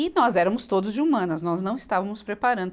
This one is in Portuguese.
E nós éramos todos de humanas, nós não estávamos preparando.